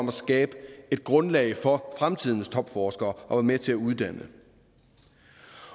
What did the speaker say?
at skabe et grundlag for fremtidens topforskere og være med til at uddanne